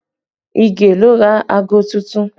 Ige ló ra aago tuntun